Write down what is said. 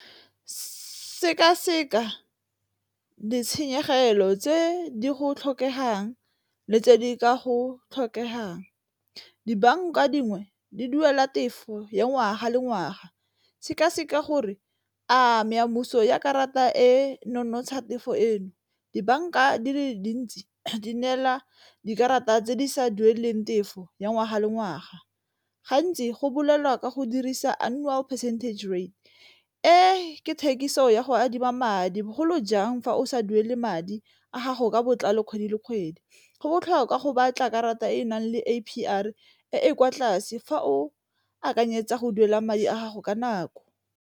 Seka-seka ditshenyegelo tse di go tlhokegang le tse di ka go tlhokegang, dibanka dingwe di duela tefo ya ngwaga le ngwaga, seka-seka gore a meamuso ya karata e nonotsha tefo eno. Dibanka di le dintsi di neela dikarata tse di sa dueleng tefo ya ngwaga le ngwaga, gantsi go bolelwa ka go dirisa annual percentage rate e, ke thekiso ya go adima madi bogolo jang fa o sa duele madi a gago ka botlalo kgwedi le kgwedi. Go botlhokwa go batla karata e e nang le A_P_R e e kwa tlase fa o akanyetsa go duela madi a gago ka nako.